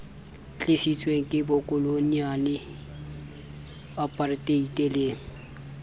tlisitsweng ke bokoloniale aparteite le